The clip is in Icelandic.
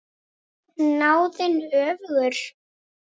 Er snáðinn öfugur?